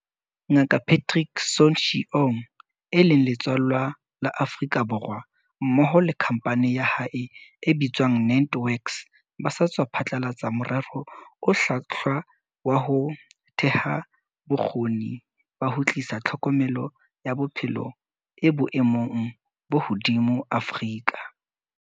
Nga kaPatrick Soon-Shiong, eo e leng letswallwa la Afrika Borwa, mmoho le khampani ya hae e bitswang NantWorks ba sa tswa phatlalatsa morero o hlwahlwa wa ho theha bo kgoni ba ho tlisa tlhokomelo ya bophelo e boemong bo hodimo Afrika.